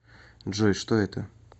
джой что это